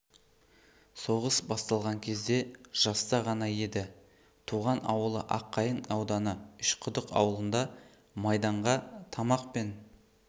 соғыс басталған кезде жаста ғана еді туған ауылы аққайын ауданы үш құдық ауылында майданға тамақ пен